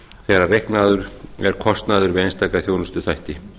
þegar reiknaður er kostnaður við einstaka þjónustuþætti